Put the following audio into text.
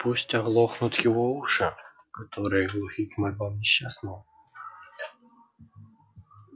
пусть оглохнут его уши которые глухи к мольбам несчастного